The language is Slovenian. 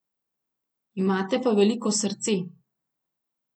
Imate pa veliko srce.